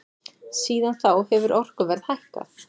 Síðan þá hefur orkuverð hækkað.